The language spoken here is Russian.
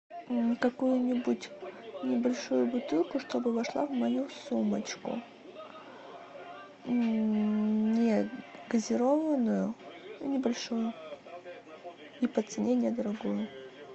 какую нибудь небольшую бутылку чтобы вошла в мою сумочку негазированную и небольшую и по цене недорогую